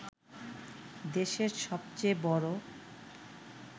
দেশের সবচেয়ে বড়